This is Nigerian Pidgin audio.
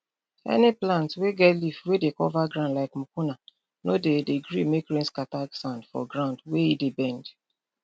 any plant wey get leaf wey dey cover ground like mucuna no dey dey gree make rain scatter sand for ground wey e dey bend